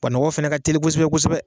Wa nɔgɔ fana ka teli kosɛbɛ kosɛbɛ.